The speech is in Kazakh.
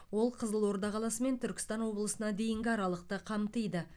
ол қызылорда қаласы мен түркістан облысына дейінгі аралықты қамтиды